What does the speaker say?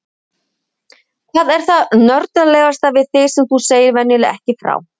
Hvað er það nördalegasta við þig sem þú segir venjulega ekki frá?